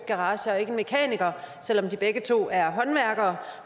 garager og ikke en mekaniker selv om de begge to er håndværkere